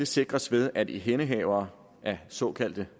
sikres ved at ihændehavere af såkaldte